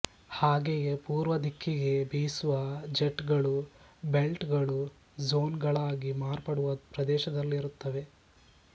ಹಾಗೆಯೇ ಪೂರ್ವದಿಕ್ಕಿಗೆ ಬೀಸುವ ಜೆಟ್ ಗಳು ಬೆಲ್ಟ್ ಗಳು ಝೋನ್ ಗಳಾಗಿ ಮಾರ್ಪಡುವ ಪ್ರದೇಶದಲ್ಲಿರುತ್ತವೆ